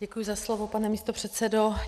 Děkuji za slovo, pane místopředsedo.